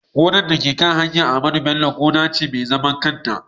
gonar dabino da ke kan titin Ahmadu Bello gona ce mai zaman kanta